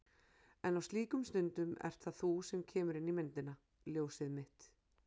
En á slíkum stundum ert það þú sem kemur inn í myndina. ljósið mitt.